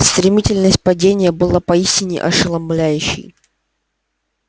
стремительность падения была поистине ошеломляющей